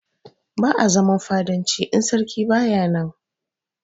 Ba'a zaman fadanci idan sarki baya nan.